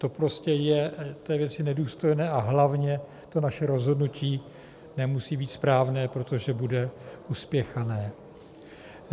To prostě je té věci nedůstojné, a hlavně to naše rozhodnutí nemusí být správné, protože bude uspěchané.